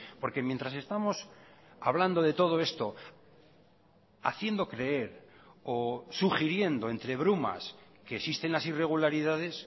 porque mientras estamos hablando de todo esto haciendo creer o sugiriendo entre brumas que existen las irregularidades